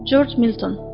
Corc Milton.